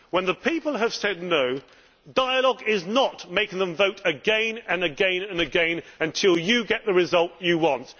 When the people have said no', dialogue does not mean making them vote again and again and again until you get the result you want.